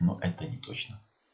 но это не точно